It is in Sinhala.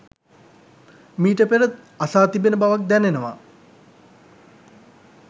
මීට පෙර අසා තිබෙන බවක් දැනෙනවා